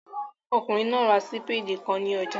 Ọkùnrin náà ra sípèdì kan ní ọjà